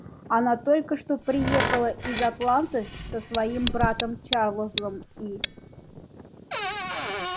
она только что приехала из атланты со своим братом чарлзом и